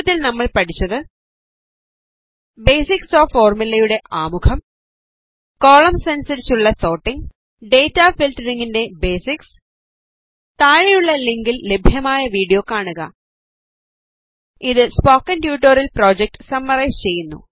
ചുരുക്കത്തിൽ നമ്മൾ പഠിച്ചത് ബേസിക്സ് ഓഫ് ഫോർമുലയുടെ ആമുഖം കോളംസ് അനുസരിച്ചുള്ള സോർട്ടിംഗ് ഡേറ്റ ഫിൽട്ടറിംഗിൻറെ ബേസിക്സ് താഴെയുള്ള ലിങ്കിൽ ലഭ്യമായ വീഡിയോ കാണുക ഇത് സ്പോക്കൺ ട്യൂട്ടോറിയൽ പ്രോജക്ട് സമ്മറൈസ് ചെയ്യുന്നു